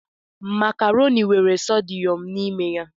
Makaroni nwe sodiyọm n'ime ya.